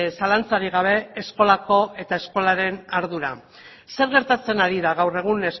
zalantzarik gabe eskolako eta eskolaren ardura zer gertatzen ari da gaur egun